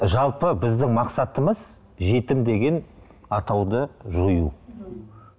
жалпы біздің мақсатымыз жетім деген атауды жою м